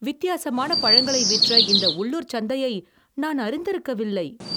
வித்தியாசமான பழங்களை விற்ற இந்த உள்ளூர்ச் சந்தையை நான் அறிந்திருக்கவில்லை.